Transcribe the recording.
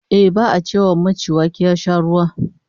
Ehh, ba'a ce wa maci wake ya sha ruwa